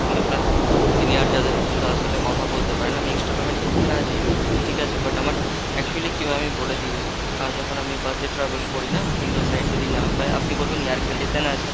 আপনি আপনার senior যাদের রয়েছে তাদের সাথে কথা বলতে পারেন, আমি extra payment করতে রাজি, ঠিক আছে but আমার actually কি হয় আমি বলে দিই , আ যখন আমি bus এ travel করি না window side যদি না পাই আপনি বলবেন air condition এ না আছে।